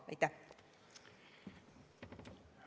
Aitäh!